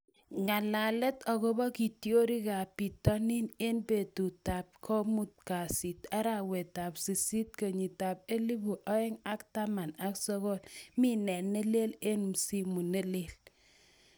Ng'alalet akobo kitiorikab bitonin eng betutab komut kasi, arawetab sisit, kenyitab elebu oeng ak taman ak sokol. Mi nee ne leel eng msimu ne leel?